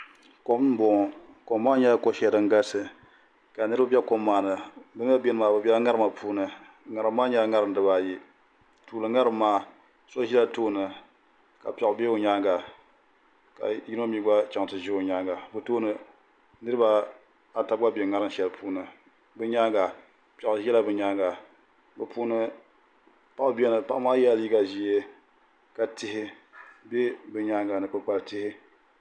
Kom n boŋo kom maa nyɛla ko shɛli din galisi ka niraba bɛ kom maa ni bi mii ni biɛni maa bi biɛla ŋarima puuni ŋarim maa nyɛla ŋarim dibaayi tuuli ŋarim maa so ʒila tooni ka piɛɣu bɛ o nyaanga ka yino mii chɛŋ ti ʒi o nyaanga bi tooni niraba ata gba nyɛla ban bɛ ŋarim shɛli ni piɛɣu ʒɛla bi nyaanga bi puuni paɣa biɛni paɣa maa yɛla liiga ʒiɛ tihi bɛ bi nyaanga ni kpukpali tihi